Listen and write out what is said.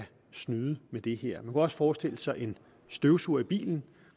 snyde med det her man kunne også forestille sig at en støvsuger i bilen